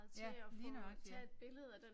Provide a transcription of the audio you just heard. Ja lige nøjagtigt ja